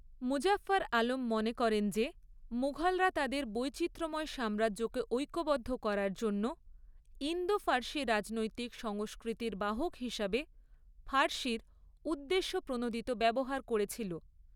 মুজাফফর আলম মনে করেন যে, মুঘলরা তাদের বৈচিত্র্যময় সাম্রাজ্যকে ঐক্যবদ্ধ করার জন্য ইন্দো ফার্সি রাজনৈতিক সংস্কৃতির বাহক হিসাবে ফার্সির উদ্দেশ্যপ্রণোদিত ব্যবহার করেছিল।